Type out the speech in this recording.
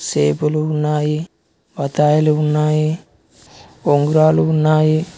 సేపులు ఉన్నాయి బత్తయిలు ఉన్నాయి ఉంగరాలు ఉన్నాయి.